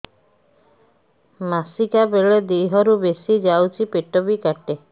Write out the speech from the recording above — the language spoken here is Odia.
ମାସିକା ବେଳେ ଦିହରୁ ବେଶି ଯାଉଛି ପେଟ ବି କାଟେ